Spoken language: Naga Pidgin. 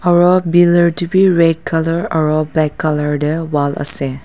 aru biller te bi red colour aru black colour te wall ase.